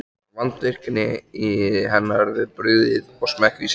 Var vandvirkni hennar við brugðið og smekkvísi.